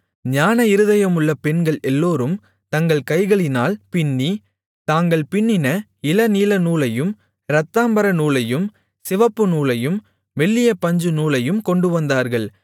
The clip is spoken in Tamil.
ஞான இருதயமுள்ள பெண்கள் எல்லோரும் தங்கள் கைகளினால் பிண்ணி தாங்கள் பிண்ணின இளநீலநூலையும் இரத்தாம்பரநூலையும் சிவப்புநூலையும் மெல்லிய பஞ்சுநூலையும் கொண்டுவந்தார்கள்